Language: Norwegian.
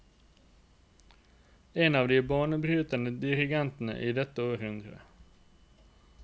En av de banebrytende dirigenter i dette århundre.